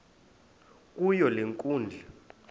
kuyo le nkundla